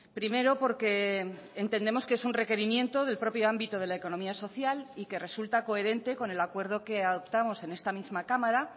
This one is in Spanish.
primero porque entendemos que es un requerimiento del propio ámbito de la economía social y que resulta coherente con el acuerdo que adoptamos en esta misma cámara